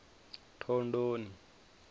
thondoni